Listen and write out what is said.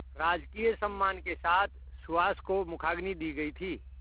राजकीय सम्मान के साथ सुहास को मुखाग्नि दी गई थी